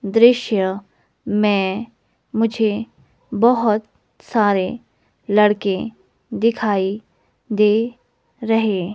दृश्य में मुझे बहुत सारे लड़के दिखाई दे रहे।